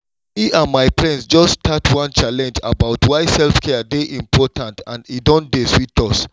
me and my friends just start one challenge about why self-care dey important and e don dey sweet us